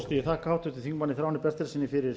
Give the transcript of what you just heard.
þakka háttvirtum þingmanni þráni bertelssyni fyrir